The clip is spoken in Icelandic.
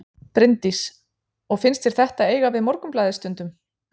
Bryndís: Og finnst þér þetta eiga við Morgunblaðið stundum?